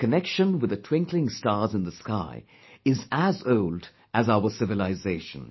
Our connection with the twinkling stars in the sky is as old as our civilisation